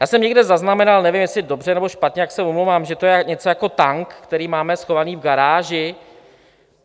Já jsem někde zaznamenal, nevím, jestli dobře, nebo špatně, tak se omlouvám, že to je něco jako tank, který máme schovaný v garáži.